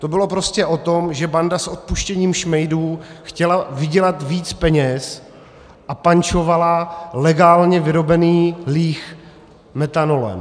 To bylo prostě o tom, že banda s odpuštěním šmejdů chtěla vydělat víc peněz a pančovala legálně vyrobený líh metanolem.